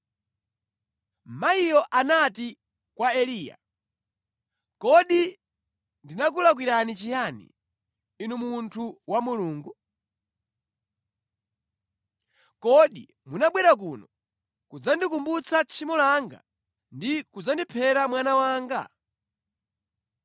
Mayiyo anati kwa Eliya, “Kodi ndakulakwirani chiyani, inu munthu wa Mulungu? Kodi munabwera kuno kudzandikumbutsa tchimo langa ndi kudzandiphera mwana wanga?”